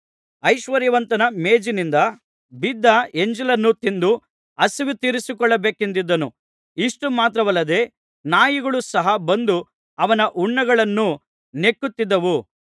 ಐಶ್ವರ್ಯವಂತನ ಮೇಜಿನಿಂದ ಬಿದ್ದ ಎಂಜಲನ್ನು ತಿಂದು ಹಸಿವು ತೀರಿಸಿಕೊಳ್ಳಬೇಕೆಂದಿದ್ದನು ಇಷ್ಟು ಮಾತ್ರವಲ್ಲದೆ ನಾಯಿಗಳು ಸಹ ಬಂದು ಅವನ ಹುಣ್ಣುಗಳನ್ನು ನೆಕ್ಕುತ್ತಿದ್ದವು